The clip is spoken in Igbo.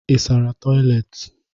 Ị sara toịletị?